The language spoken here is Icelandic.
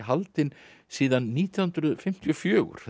haldinn síðan nítján hundruð fimmtíu og fjögur